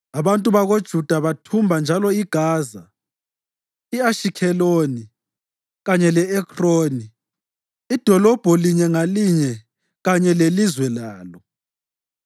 Abantu bakoJuda bathumba njalo iGaza, i-Ashikheloni kanye le-Ekroni, idolobho linye ngalinye kanye lelizwe lalo.